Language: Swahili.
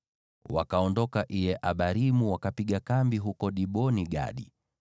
Wakaondoka Iye-Abarimu, wakapiga kambi huko Dibon-Gadi.